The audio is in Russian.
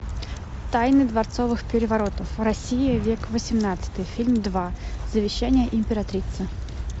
тайны дворцовых переворотов россия век восемнадцатый фильм два завещание императрицы